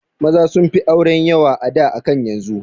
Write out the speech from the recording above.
Maza sunfi auren yawa a da akan yanzu